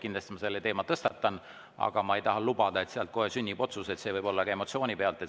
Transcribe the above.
Kindlasti ma selle teema tõstatan, aga ma ei taha lubada, et sealt kohe sünnib otsus, sest see võib olla ka emotsiooni pealt.